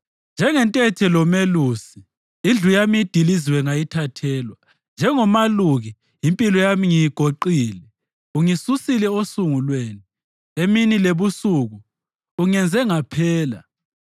Njengethente lomelusi indlu yami idiliziwe ngayithathelwa. Njengomaluki impilo yami ngiyigoqile, ungisusile osungulweni; emini lebusuku ungenze ngaphela.